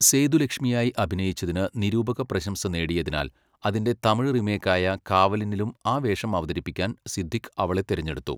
സേതുലക്ഷ്മിയായി അഭിനയിച്ചതിന് നിരൂപക പ്രശംസ നേടിയതിനാൽ, അതിന്റെ തമിഴ് റീമേക്കായ 'കാവലനി'ലും ആ വേഷം അവതരിപ്പിക്കാൻ സിദ്ദിഖ് അവളെ തിരഞ്ഞെടുത്തു.